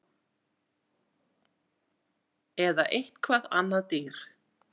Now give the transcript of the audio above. Eða eitthvað annað dýr